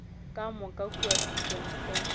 ka moka kua students centre